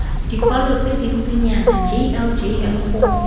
dikwalo tse dintsinyana jljl go